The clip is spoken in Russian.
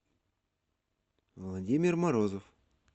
владимир морозов